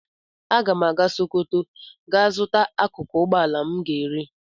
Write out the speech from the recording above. Aga m aga Sokoto gaa zuta akụkụ ugboala m ga-ere.